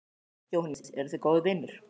Jóhannes: Eruð þið góðir vinir?